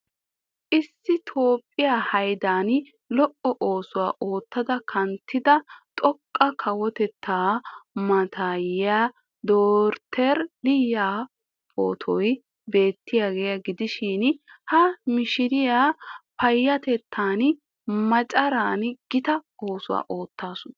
Issi toophphiya hayddan lo'o oosuwaa oottada kanttida xoqqa kawotetta mataayee Dotoree liyi pootoy beettiyaagaa gidishiin ha mishshiriyaa payatettaan maccaraan gita oosuwaa oottaasu.